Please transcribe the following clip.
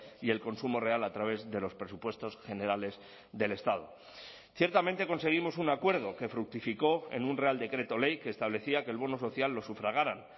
y el consumo real a través de los presupuestos generales del estado ciertamente conseguimos un acuerdo que fructificó en un real decreto ley que establecía que el bono social lo sufragaran